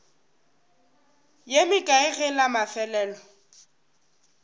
ye mekae ge la mafelelo